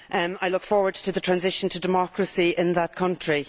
I look forward to the transition to democracy in that country.